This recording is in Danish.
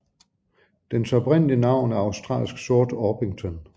Dens oprindelige navn er australsk sort orpington